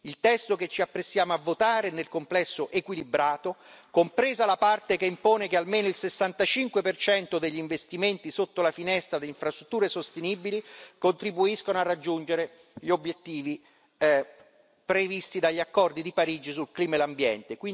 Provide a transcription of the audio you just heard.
Il testo che ci apprestiamo a votare è nel complesso equilibrato, compresa la parte che impone che almeno il 65 degli investimenti sotto la finestra delle infrastrutture sostenibili contribuisca a raggiungere gli obiettivi previsti dagli accordi di Parigi sul clima e l'ambiente.